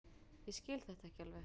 Ég skil þetta ekki alveg.